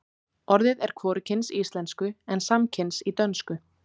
orðið er hvorugkyns í íslensku en samkyns í dönsku